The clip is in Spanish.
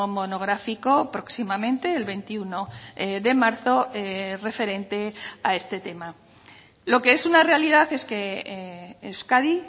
monográfico próximamente el veintiuno de marzo referente a este tema lo que es una realidad es que euskadi